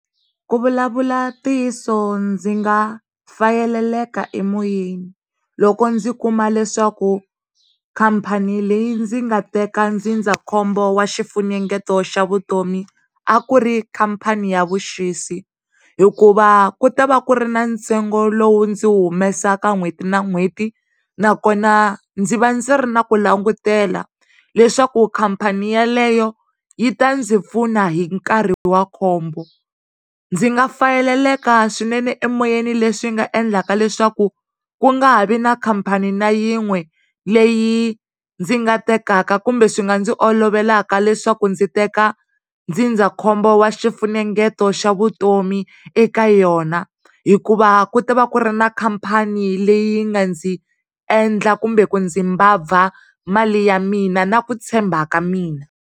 Ku vulavula ntiyiso ndzi nga fayeleleka emoyeni loko ndzi kuma leswaku khampani leyi ndzi nga teka ndzindzakhombo wa xifunengeto xa vutomi a ku ri khampani ya vuxisi hikuva ku ta va ku ri na ntsengo lowu ndzi wu humeseke n'hweti na n'hweti nakona ndzi va ndzi ri na ku langutela leswaku khampani yaleyo yi ta ndzi pfuna hi nkarhi wa khombo. Ndzi nga fayeleleka swinene emoyeni le swi nga endlaka leswaku ku nga ha vi na khampani na yin'we leyi ndzi nga tekaka kumbe swi nga ndzi olovelaka leswaku ndzi teka ndzindzakhombo wa swifunengeto xa vutomi eka yona hikuva ku ta va ku ri ni khampani leyi nga ndzi endla kumbe ku ndzi mbabva mali ya mina na ku tshemba ka mina.